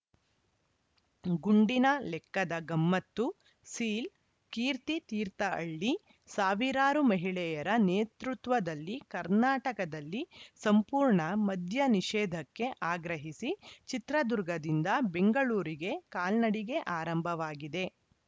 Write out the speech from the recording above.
ಗುಂಡಿನ ಲೆಕ್ಕದ ಗಮ್ಮತ್ತು ಸೀಲ್‌ ಕೀರ್ತಿ ತೀರ್ಥಹಳ್ಳಿ ಸಾವಿರಾರು ಮಹಿಳೆಯರ ನೇತೃತ್ವದಲ್ಲಿ ಕರ್ನಾಟಕದಲ್ಲಿ ಸಂಪೂರ್ಣ ಮದ್ಯ ನಿಷೇಧಕ್ಕೆ ಆಗ್ರಹಿಸಿ ಚಿತ್ರದುರ್ಗದಿಂದ ಬೆಂಗಳೂರಿಗೆ ಕಾಲ್ನಡಿಗೆ ಆರಂಭವಾಗಿದೆ